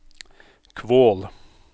Kvål